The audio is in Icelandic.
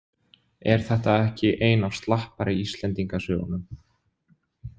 Er þetta ekki ein af slappari Íslendingasögunum?